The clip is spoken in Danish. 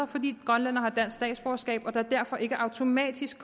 fordi grønlændere har dansk statsborgerskab og der kommer derfor ikke automatisk